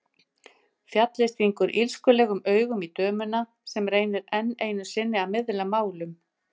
Fjallið stingur illskulegum augum í dömuna sem reynir enn einu sinni að miðla málum.